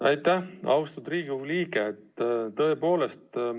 Aitäh, austatud Riigikogu liige!